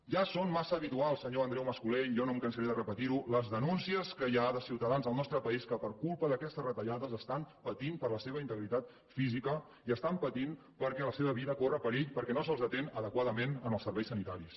ja són massa habituals senyor andreu mas colell jo no em cansaré de repetir ho les denúncies que hi ha de ciutadans del nostre país que per culpa d’aquestes retallades pateixen per la seva integritat física i pateixen perquè la seva vida corre perill perquè no se’ls atén adequadament en els serveis sanitaris